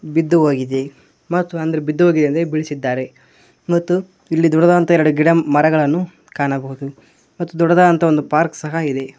ಬಿದ್ದುಹೋಗಿದೆ ಮತ್ತು ಅಂದ್ರೆ ಬಿದ್ದುಹೋಗಿದೆ ಅಂದ್ರೆ ಬೀಳಿಸಿದ್ದಾರೆ ಮತ್ತು ಇಲ್ಲಿ ದೊಡ್ಡದಾದಂತಹ ಗಿಡಮರಗಳನ್ನು ಕಾಣಬಹುದು ಮತ್ತು ದೊಡ್ಡದಾದಂತಹ ಒಂದು ಪಾರ್ಕ್ ಸಹ ಇದೆ.